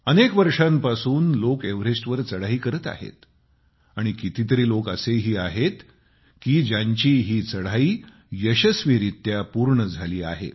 अनेक वर्षांपासून लोक एव्हरेस्टवर चढाई करत आहेत आणि कितीतरी लोक असेही आहेत की ज्यांची ही चढाई यशस्वीरीत्या पूर्ण झाली आहे